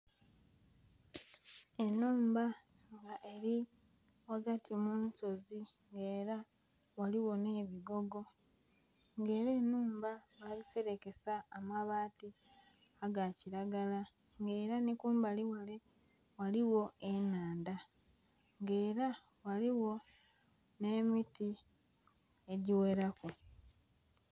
enhumba nga eri ghagati mu nsozi nga era galigho ne bigogo, nga era enhumba bagiserekesa amabaati aga kiragala ng'era ni kumbalighale ghaligho enhandha nga era ghaligho nhe miti egigheraku.